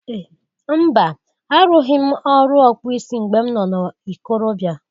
Mba! Arụghị m ọrụ ọkpụ isi mgbe m nọ na ikorobịa.